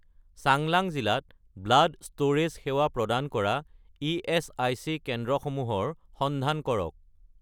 চাংলাং জিলাত blood storage সেৱা প্ৰদান কৰা ইএচআইচি কেন্দ্ৰসমূহৰ সন্ধান কৰক